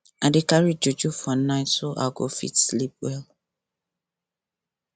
i dey carry juju for night so i go fit sleep well